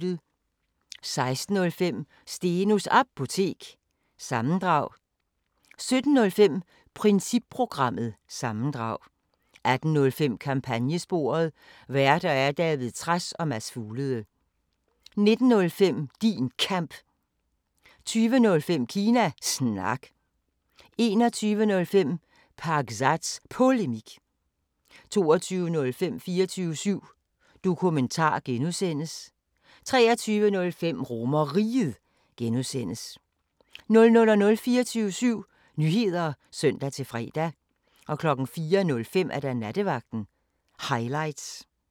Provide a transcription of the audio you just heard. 16:05: Stenos Apotek – sammendrag 17:05: Principprogrammet – sammendrag 18:05: Kampagnesporet: Værter: David Trads og Mads Fuglede 19:05: Din Kamp 20:05: Kina Snak 21:05: Pakzads Polemik 22:05: 24syv Dokumentar (G) 23:05: RomerRiget (G) 00:00: 24syv Nyheder (søn-fre) 04:05: Nattevagten Highlights